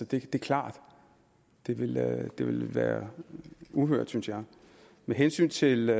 det er klart det ville det ville være uhørt synes jeg med hensyn til